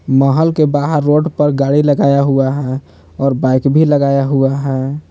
महल के बाहर रोड पर गाड़ी लगाया हुआ है और बाइक भी लगाया हुआ है।